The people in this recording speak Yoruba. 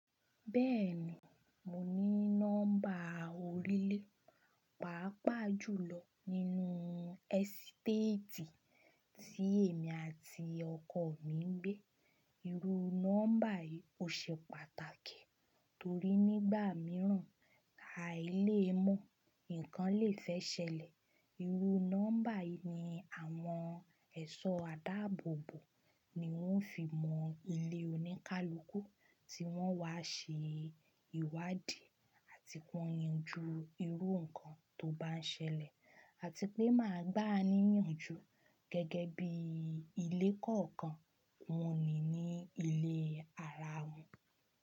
Bẹ́ẹ̀ni, mo ní nọ́mbà orílẹ̀ pàápàá jù lọ nínú ẹ̀sítétì tí èmi àti ọkọ mi ń gbé. Irú nọ́mbà yìí ò ṣe pàtàkì torí nígbà mìíràn a i lè mọ̀ nǹkan lè fẹ́ ṣẹlẹ̀. Irú nọ́mbà yìí ni àwọn ẹ̀ṣọ́ àdáàbòbò ni wọ́n fi mọ ilé oníkálukú tí wọ́n wá ṣe ìwádìí àti kón yanju irú nǹkan tó bá ṣẹlẹ̀ àti pé máa gbà á níyànjú gẹ́gẹ́ bí ilé kọ̀ọ̀kan wọn ní ní ilé ara wọn.